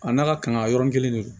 A n'a ka kanga yɔrɔnin kelen de don